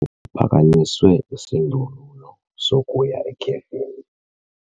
Kuphakanyiswe isindululo sokuya ekhefini.